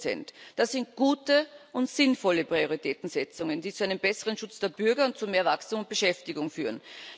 50 Das sind gute und sinnvolle Prioritätensetzungen, die zu einem besseren Schutz der Bürger und zu mehr Wachstum und Beschäftigung führen.